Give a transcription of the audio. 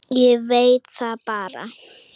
Ég veit það bara.